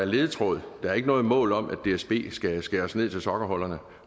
ledetråd der er ikke noget mål om at dsb skal skæres ned til sokkeholderne